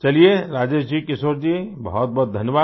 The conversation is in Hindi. चलिये राजेश जी किशोर जी बहुतबहुत धन्यवाद